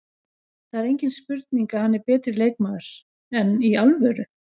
Það er engin spurning að hann er betri leikmaður, enn í alvöru?